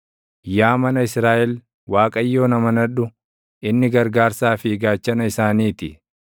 Yaa mana Israaʼel, Waaqayyoon amanadhu; inni gargaarsaa fi gaachana isaanii ti.